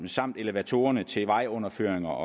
samt elevatorerne til vejunderføringer